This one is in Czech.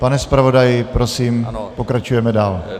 Pane zpravodaji, prosím, pokračujeme dál.